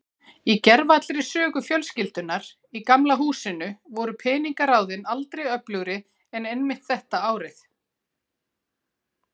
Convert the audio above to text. Í gervallri sögu fjölskyldunnar í Gamla húsinu voru peningaráðin aldrei öflugri en einmitt þetta árið.